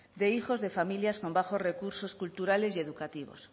de hijos de familias con bajos recursos culturales y educativos